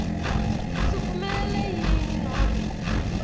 siphumelele yini nobe